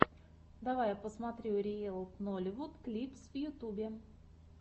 давай я посмотрю риэл нолливуд клипс в ютубе